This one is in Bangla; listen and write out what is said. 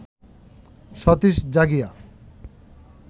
সতীশ জাগিয়া